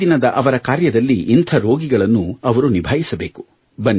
ಪ್ರತಿದಿನದ ಅವರ ಕಾರ್ಯದಲ್ಲಿ ಇಂಥ ರೋಗಿಗಳನ್ನು ಅವರು ನಿಭಾಯಿಸಬೇಕು